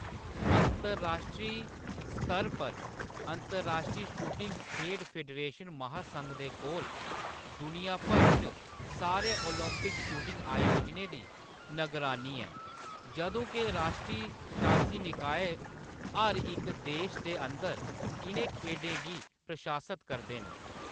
अंतर-राश्ट्री स्तर पर, अंतर-राश्ट्री शूटिंग खेढ फेडरेशन महासंघ दे कोल दुनिया भर च सारे ओलंपिक शूटिंग आयोजनें दी नगरानी ऐ, जदूं के राश्ट्री शासी निकाय हर इक देश दे अंदर इʼनें खेढें गी प्रशासत करदे न।